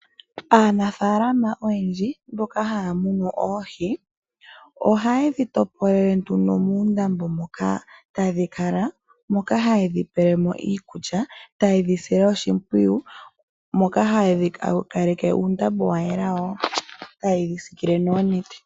Aanafalama oyendji mboka haya munu oohi, ohaye dhi topolele nduno muundambo moka tadhi kala, moka haye dhi pelemo iikulya, taye dhi sile oshimpwiyu, moka haya kalake uundambo wa yela wo, tayedhi sikile noonete.